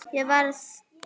Ég verð.